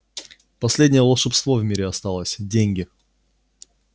последнее волшебство в мире осталось деньги